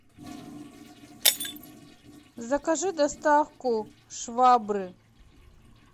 закажи доставку швабры